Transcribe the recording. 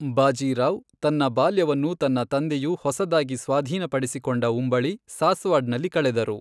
ಬಾಜಿ ರಾವ್, ತನ್ನ ಬಾಲ್ಯವನ್ನು ತನ್ನ ತಂದೆಯು ಹೊಸದಾಗಿ ಸ್ವಾಧೀನಪಡಿಸಿಕೊಂಡ ಉಂಬಳಿ, ಸಾಸ್ವಾಡ್ ನಲ್ಲಿ ಕಳೆದರು.